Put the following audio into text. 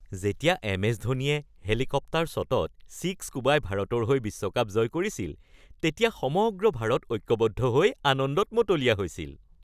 যেতিয়া M S ধোনীয়ে helicopter শ্বটত ছিক্স কোবাই ভাৰতৰ হৈ বিশ্বকাপ জয় কৰিছিল তেতিয়া সমগ্ৰ ভাৰত ঐক্যবদ্ধ হৈ আনন্দত মতলীয়া হৈছিল।